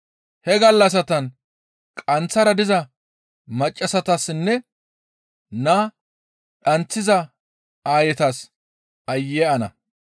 He gallassatan qanththara diza maccassatassinne naa dhanththiza aayetas aayye ana!